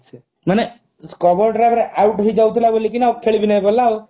ମାନେ cover drive ରେ out ହେଇଯାଉଥିଲା ବୋଲି କି ନା ଆଉ ଖେଳିବି ନାହିଁ ବୋଲି କହିଲା ଆଉ